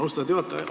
Austatud juhataja!